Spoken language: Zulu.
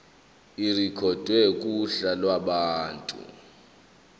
irekhodwe kuhla lwabantu